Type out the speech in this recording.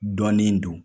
Dɔnnin don